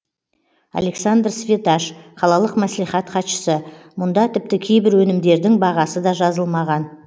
александр светаш қалалық мәслихат хатшысы мұнда тіпті кейбір өнімдердің бағасы да жазылмаған